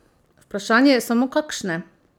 Vprašanje je samo kakšne?